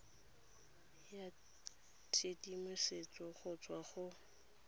ya tshedimosetso go tswa go